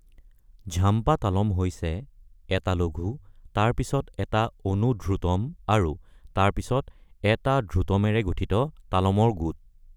ঝাম্পা তালম হৈছে ১টা লঘু, তাৰ পিছত ১টা অনুধ্ৰুতম, তাৰ পিছত ১টা ধ্ৰুতমেৰে গঠিত তালমৰ গোট।